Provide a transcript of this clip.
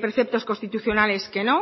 preceptos constitucionales que no